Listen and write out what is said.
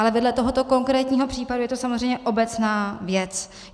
Ale vedle tohoto konkrétního případu je to samozřejmě obecná věc.